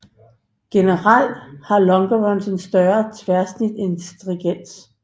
Generelt har longerons et større tværsnit end stringers